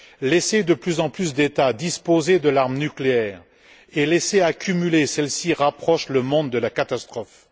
Laisser de plus en plus d'États disposer de l'arme nucléaire et laisser s'accumuler celle ci rapprochent le monde de la catastrophe.